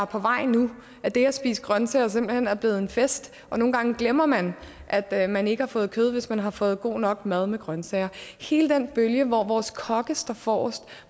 på vej nu og at det at spise grønsager simpelt hen er blevet en fest nogle gange glemmer man at man ikke har fået kød hvis man har fået god nok mad med grønsager hele den bølge hvor vores kokke står forrest